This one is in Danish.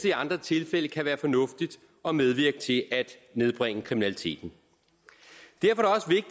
i andre tilfælde kan være fornuftigt og medvirke til at nedbringe kriminaliteten derfor